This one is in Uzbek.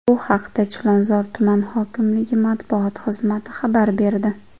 Bu haqda Chilonzor tuman hokimligi matbuot xizmati xabar berdi .